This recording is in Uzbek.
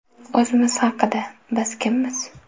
O‘zimiz haqida: biz kimmiz?